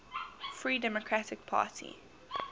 free democratic party